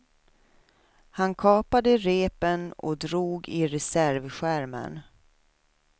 Han kapade repen och drog i reservskärmen.